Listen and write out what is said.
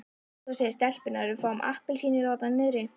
Svo segja stelpurnar að við fáum appelsínur þarna niðri.